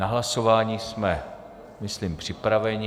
Na hlasování jsme, myslím, připraveni.